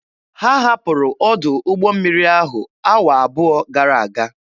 Ha hapụrụ ọdụ ụgbọ mmiri ahụ awa abụọ gara aga.